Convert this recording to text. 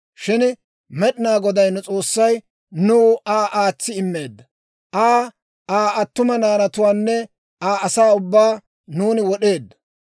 Shin Med'inaa Goday nu S'oossay nuw Aa aatsi immeedda; Aa, Aa attuma naanatuwaanne Aa asaa ubbaa nuuni wod'eeddo.